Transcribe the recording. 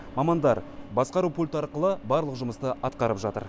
мамандар басқару пульті арқылы барлық жұмысты атқарып жатыр